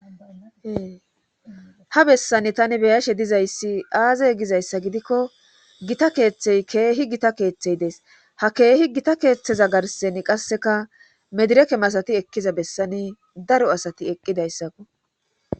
Keeha bessani tani beyashe dizayssi aazey gizayssa gidikko gita keeththey keehi gita keeththey dees ha keehi gita keeththeza garsen qasseka medireke masati ekkiza bessani daro asati eqqidayssakko